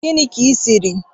Gini ki shirk